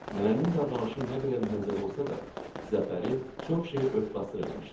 Nənənin davranışı nə qədər məzəli olsa da, zəfəri çox şeyi ört-basdır eləmişdi.